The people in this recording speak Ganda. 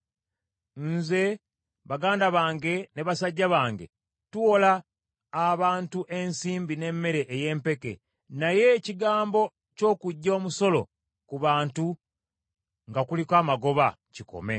Nze, baganda bange ne basajja bange, tuwola abantu ensimbi n’emmere ey’empeke, naye ekigambo ky’okuggya omusolo ku bantu nga kuliko amagoba kikome.